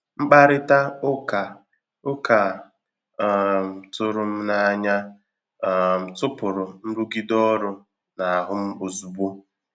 Mkpàrịtà ụ́ka ụka a um tụrụ m n’ànyà um tụpụ̀rụ nrụgide ọrụ n’ahụ m ozugbo.